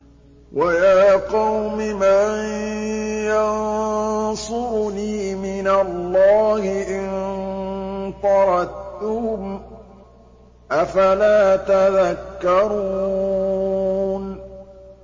وَيَا قَوْمِ مَن يَنصُرُنِي مِنَ اللَّهِ إِن طَرَدتُّهُمْ ۚ أَفَلَا تَذَكَّرُونَ